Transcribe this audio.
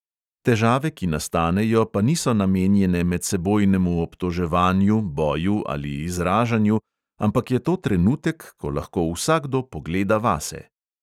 Težave, ki nastanejo, pa niso namenjene medsebojnemu obtoževanju, boju ali izražanju, ampak je to trenutek, ko lahko vsakdo pogleda vase.